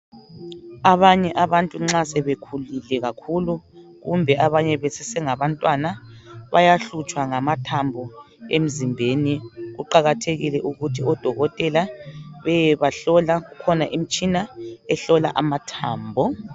Abanye abantu nxa sebekhulile kakhulu kumbe abanye besesengabantwana bayahlutshwa ngamathambo emzimbeni. Kuqakathekile ukuthi odokotela beyebahlola kukhona imitshina ehlola amathambo.